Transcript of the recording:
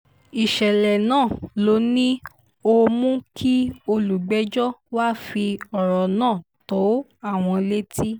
ìṣẹ̀lẹ̀ náà ló ní ó mú kí olùpẹ̀jọ́ wàá fi ọ̀rọ̀ náà tó àwọn létí